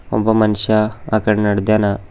ಒಬ್ಬ ಮನುಷ್ಯ ಆ ಕಡೆ ನಡ್ದ್ಯಾನ.